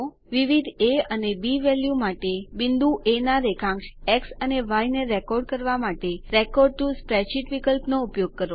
વિવિધ એ અને B value માટે બિંદુ એ ના રેખાંશ એક્સ અને ય ને રેકોર્ડ કરવા માટે રેકોર્ડ ટીઓ સ્પ્રેડશીટ વિકલ્પનો ઉપયોગ કરો